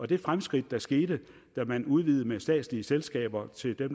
det fremskridt der skete da man udvidede med statslige selskaber til dem